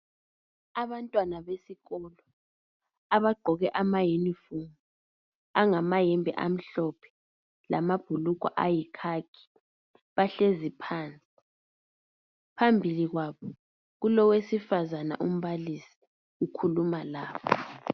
Abantwana besikolo abagqoke ama yunifomu angamayembe amhlophe lamabhulugwe ayikhakhi bahlezi phansi. Phambili kwabo kulowesifazana umbalisi okhuluma labo.